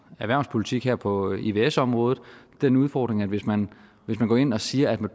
erhvervspolitik her på ivs området den udfordring at hvis man hvis man går ind og siger at man